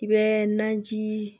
I bɛ naji